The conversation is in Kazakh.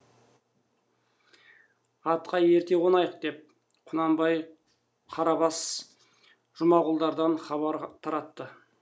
атқа ерте қонайық деп құнанбай қарабас жұмағұлдардан хабар таратты